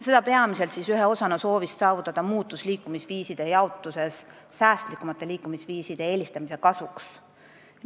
See tuleb peamiselt soovist saavutada muutus liikumisviiside jaotuses säästlikumate liikumisviiside kasuks.